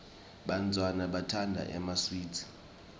bantfwana batsandza emaswidi